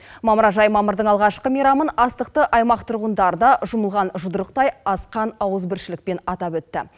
мамыражай мамырдың алғашқы мейрамын астықты аймақ тұрғындары да жұмылған жұдырықтай асқан ауызбіршілікпен атап өтті